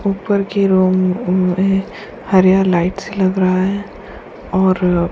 ऊपर की room room में हरिया लाइटस से लगा है और --